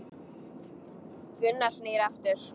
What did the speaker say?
Gunnar snýr aftur.